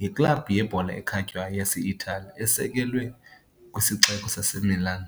yiklabhu yebhola ekhatywayo yase-Itali esekelwe kwisixeko saseMilan.